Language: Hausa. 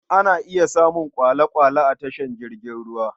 Ana iya samun kwale+kwale a tashar jiragen ruwa.